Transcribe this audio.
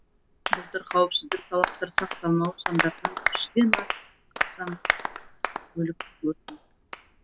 былтыр қауіпсіздік талаптары сақталмауы салдарынан жүзден астам көлік өртенген